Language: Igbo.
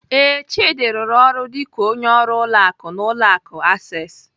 Ee, Chidi rụrụ ọrụ dịka onye ọrụ ụlọ akụ n'ụlọ akụ Access.